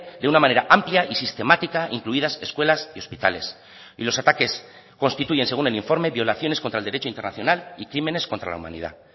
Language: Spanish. de una manera amplia y sistemática incluidas escuelas y hospitales y los ataques constituyen según el informe violaciones contra el derecho internacional y crímenes contra la humanidad